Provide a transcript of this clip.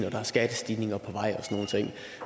og der er skattestigninger på vej